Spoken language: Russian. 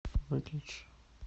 выключи